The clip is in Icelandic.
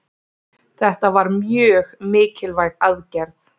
Þetta var mjög mikilvæg aðgerð